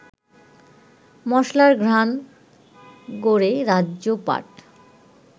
মশলার ঘ্রাণ গড়ে রাজ্যপাট